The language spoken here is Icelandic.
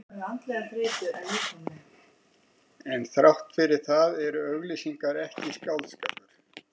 En þrátt fyrir það eru auglýsingar ekki skáldskapur.